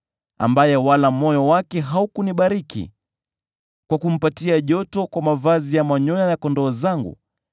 ambaye wala moyo wake haukunibariki kwa kumpatia joto kwa mavazi ya manyoya ya kondoo zangu,